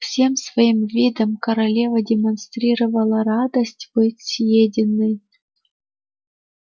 всем своим видом корова демонстрировала радость быть съеденной